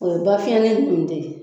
O ye bafiyɛlen nunnu de ye